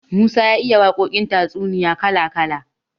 Musa ya iya waƙoƙin tatsuniya kala kala.